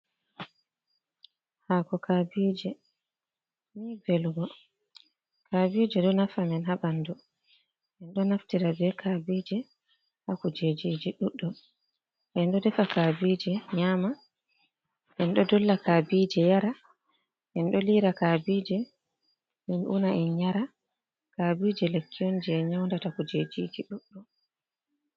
Hàko kabije ni vélugo. Kabije ɗo nafa min ha banɗu en ɗo naftira ɓe kabije ha kujejiji ɗuɗdum. En ɗo défa kabije nyama en ɗo ɗolla kabije yarah en ɗo lira kabije min una en nyara, kabije lekki on je nyaunɗata kujejiji ɗuɗɗum.